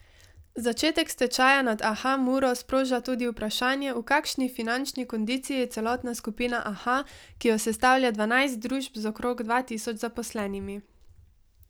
Začetek stečaja nad Aha Muro sproža tudi vprašanje, v kakšni finančni kondiciji je celotna skupina Aha, ki jo sestavlja dvanajst družb z okrog dva tisoč zaposlenimi.